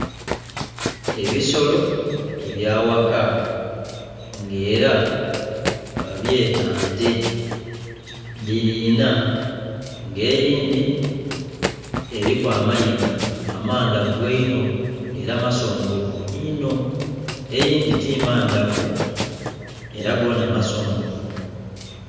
Ebisolo ebyaghaka nga era babyeta nte dhiri inha nga eyindhi eri amayiga amandhavu eino nga era masongovu ino eyindhi timandhavu era goona masongovu.